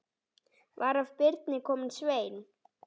Var af Birni kominn Sveinn.